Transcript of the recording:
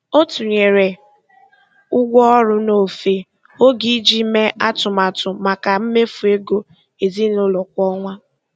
Ọ tụnyere ụgwọ ọrụ n'ofe oge iji mee atụmatụ maka mmefu ego ezinụlọ kwa ọnwa.